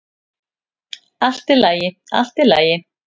"""Allt í lagi, allt í lagi."""